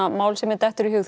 mál sem mér dettur í hug